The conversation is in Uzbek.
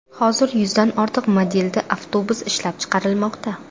Hozir yuzdan ortiq modelda avtobus ishlab chiqarilmoqda.